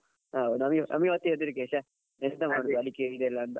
ಹೌದು ನಮ್ಗೆ ನಮ್ಗೆ ಮತ್ತೆ ಹೆದ್ರಿಕ್ಕೆ ಶೇ ಎಂತ ಮಾಡುದು ಅಂತ ಅಡಿಕೆ ಇದೆಲ್ಲಅಂತ.